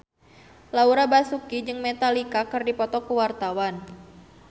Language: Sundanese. Laura Basuki jeung Metallica keur dipoto ku wartawan